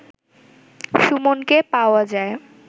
সুমনকে পাওয়া যায়